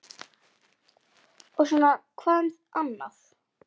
Og svona hvað um annað